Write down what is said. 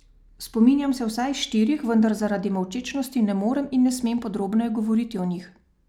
Spominjam se vsaj štirih, vendar zaradi molčečnosti ne morem in ne smem podrobneje govoriti o njih.